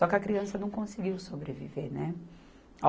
Só que a criança não conseguiu sobreviver, né.